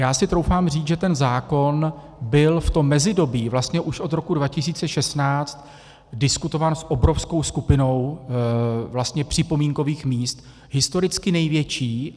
Já si troufám říct, že ten zákon byl v tom mezidobí, vlastně už od roku 2016, diskutován s obrovskou skupinou vlastně připomínkových míst, historicky největší.